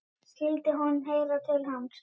Skyldi hún heyra til hans?